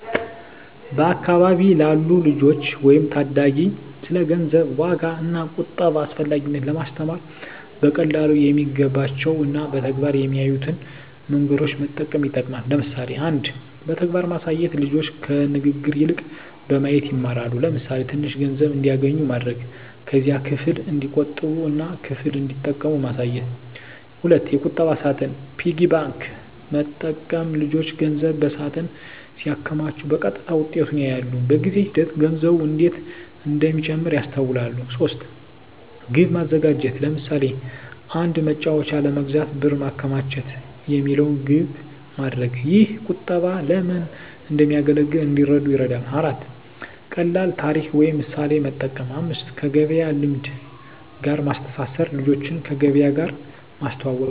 በአካባቢ ላሉ ልጆች ወይም ታዳጊ ስለ ገንዘብ ዋጋ እና ቁጠባ አስፈላጊነት ለማስተማር በቀላሉ የሚገባቸው እና በተግባር የሚያዩትን መንገዶች መጠቀም ይጠቅማል። ለምሳሌ 1. በተግባር ማሳየት ልጆች ከንግግር ይልቅ በማየት ይማራሉ። ለምሳሌ፣ ትንሽ ገንዘብ እንዲያገኙ ማድረግ። ከዚያም ክፍል እንዲቆጥቡ እና ክፍል እንዲጠቀሙ ማሳየት። 2. የቁጠባ ሳጥን (Piggy bank) መጠቀም ልጆች ገንዘብ በሳጥን ሲያከማቹ በቀጥታ ውጤቱን ያያሉ። በጊዜ ሂደት ገንዘቡ እንዴት እንደሚጨምር ያስተውላሉ። 3. ግብ ማዘጋጀት ለምሳሌ፣ “አንድ መጫወቻ ለመግዛት ብር ማከማቸት” የሚለውን ግብ ማድረግ። ይህ ቁጠባ ለምን እንደሚያገለግል እንዲረዱ ይረዳል። 4. ቀላል ታሪክ ወይም ምሳሌ መጠቀም 5. ከገበያ ልምድ ጋር ማስተማር ልጆችን ከገበያ ጋር ማስተዋወቅ።